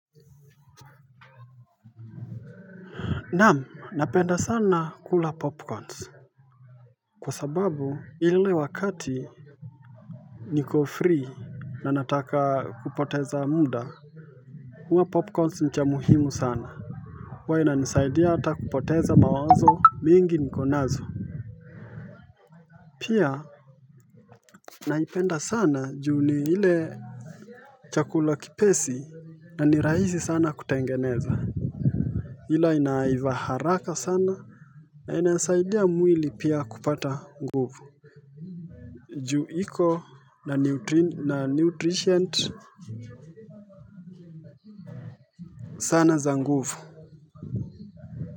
Naam, napenda sana kula popcorns Kwa sababu ile wakati niko free na nataka kupoteza muda kuma popcorns mcha muhimu sana wa ina nisaidia hata kupoteza mawazo mingi niko nazo Pia naipenda sana juu ni ile Chakula kipesi na ni raisi sana kutengeneza Ila inaiva haraka sana na inasaidia mwili pia kupata nguvu juu iko na nutrition sana za nguvu.